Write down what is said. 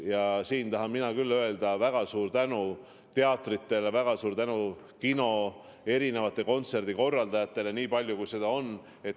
Ja siin tahan mina küll öelda väga suure tänu teatritele, väga suure tänu kinodele, erinevatele kontserdikorraldajatele, nii palju kui neid on.